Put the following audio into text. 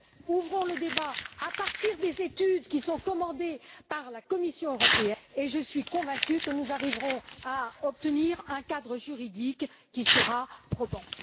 Ouvrons le débat à partir des études qui sont commandées par la Commission et je suis convaincue que nous arriverons à obtenir un cadre juridique qui sera probant.